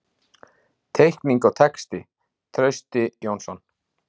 Teikning og texti: Trausti Jónsson.